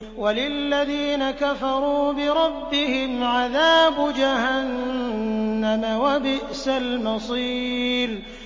وَلِلَّذِينَ كَفَرُوا بِرَبِّهِمْ عَذَابُ جَهَنَّمَ ۖ وَبِئْسَ الْمَصِيرُ